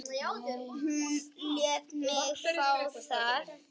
Hún lét mig fá það.